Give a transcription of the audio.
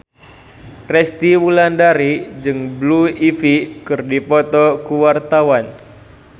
Resty Wulandari jeung Blue Ivy keur dipoto ku wartawan